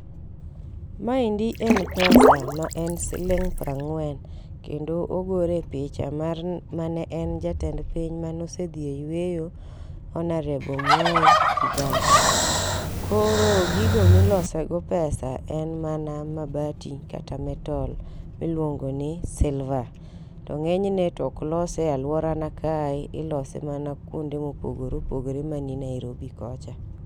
Maendi en pesa maen siling' piero ang'wen., kendo ogorie picha mar mane en jatend piny mane osedhi e yueyo Hon .Mwai Kibaki. Koro gigo ma ilosogo pesa en mana mabati kata metal miluongo ni silver to ng'enyne to ok lose e aluora na kae, ilose mana kuonde mopogore opogore man Nairobi kocha.